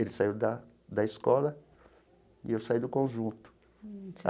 Ele saiu da da escola e eu saí do conjunto.